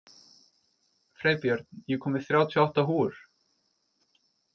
Freybjörn, ég kom með þrjátíu og átta húfur!